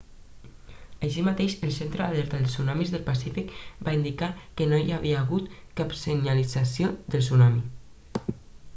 així mateix el centre d'alerta de tsunamis del pacífic va indicar que no hi havia hagut cap senyalització de tsunami